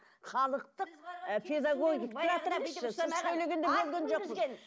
халықтық сіз сөйлегенде бөлген жоқпыз